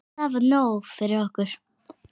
Það var nóg fyrir okkur.